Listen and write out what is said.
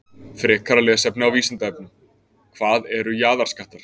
Frekara lesefni á Vísindavefnum: Hvað eru jaðarskattar?